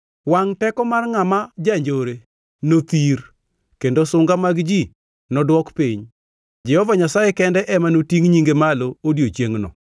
Wangʼ teko mar ngʼama janjore nothir kendo sunga mag ji nodwok piny; Jehova Nyasaye kende ema notingʼ nyinge malo odiechiengno.